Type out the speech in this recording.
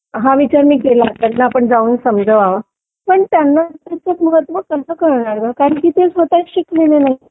हा विचार मी केला त्यांना जाऊन आपण समजवावा पण त्यांना त्याचं महत्व कसं कळणार ग कारण की ते स्वतः शिकलेले नाहीयेत